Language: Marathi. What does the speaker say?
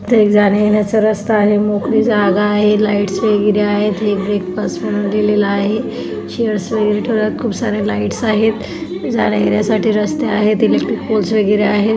एक जाण्या येण्याचा रस्ता आहे मोकळी जागा आहे लाइटस वगैरे आहेत एक ब्रेक फास्ट म्हणून लिहिलेल आहे खूप सारे लाइटस आहेत एक जाण्या येण्यासाठी रस्ता आहे इलेक्ट्रिक पोल्स वगैरे आहेत.